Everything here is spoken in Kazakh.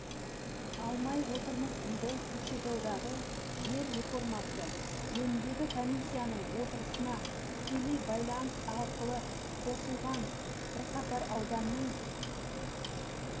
алмай отырмыз дейді көкшетаудағы жер реформасы жөніндегі комиссияның отырысына тікелей байланыс арқылы қосылған бірқатар ауданның